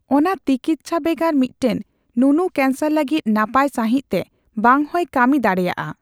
ᱚᱱᱟ ᱛᱤᱠᱤᱪᱪᱷᱟ ᱵᱷᱮᱜᱟᱨ ᱢᱤᱫᱴᱟᱝ ᱱᱩᱱᱩ ᱠᱮᱱᱥᱟᱨ ᱞᱟᱹᱜᱤᱫ ᱱᱟᱯᱟᱭ ᱥᱟᱹᱦᱤᱡᱛᱮ ᱵᱟᱝᱦᱚᱸᱭ ᱠᱟᱹᱢᱤ ᱫᱟᱲᱮᱭᱟᱜᱼᱟ ᱾